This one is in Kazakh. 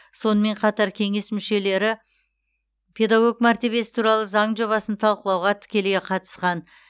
сонымен қатар кеңес мүшелері педагог мәртебесі туралы заң жобасын талқылауға тікелей қатысқан